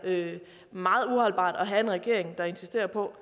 at have en regering der insisterer på